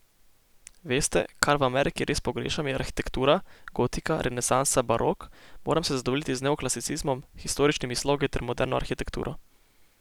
Veste, kar v Ameriki res pogrešam, je arhitektura, gotika, renesansa, barok, moram se zadovoljiti z neoklasicizmom, historičnimi slogi ter moderno arhitekturo.